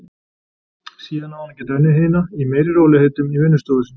Síðan á hún að geta unnið hina í meiri rólegheitum í vinnustofu sinni.